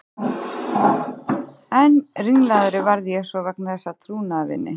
Enn ringlaðri varð ég svo vegna þess að trúnaðarvini